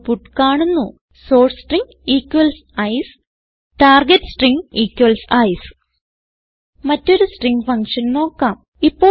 output കാണുന്നു source string ICE target string ICE മറ്റൊരു string function നോക്കാം